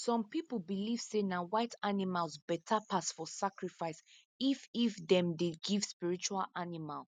some pipo believe say na white animals beta pass for sacrifice if if them dey give spiritual animal